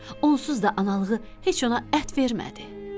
Onsuz da analığı heç ona ət vermirdi.